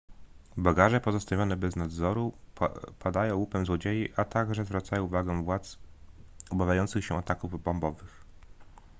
bagaże pozostawione bez nadzoru padają łupem złodziei a także zwracają uwagę władz obawiających się ataków bombowych